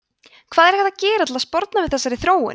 hvað er hægt að gera til að sporna við þessari þróun